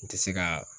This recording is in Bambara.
N tɛ se ka